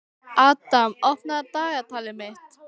Adam, opnaðu dagatalið mitt.